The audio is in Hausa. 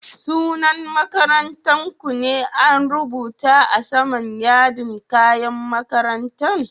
Sunan makarantan ku ne an rubuta a sama'n yardin kayan makarantan?